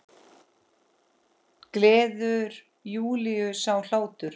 Gleður Júlíu sá hlátur.